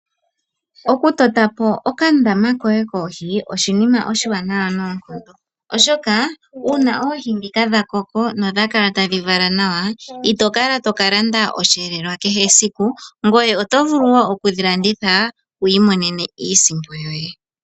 Okutotapo okandama koye koohi oshinima oshiwanawa noonkondo, oshoka una oohi dhika dha koko nodha kala tadhi vala nawa, ito kala to ka landa oshivelelwa kehe esiku, ngoye oto vulu wo okudhi landitha wu imonene iisimpo yoye.